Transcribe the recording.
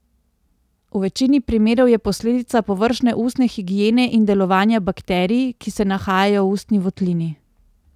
V večini primerov je posledica površne ustne higiene in delovanja bakterij, ki se nahajajo v ustni votlini.